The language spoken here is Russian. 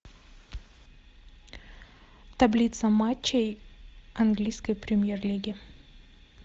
таблица матчей английской премьер лиги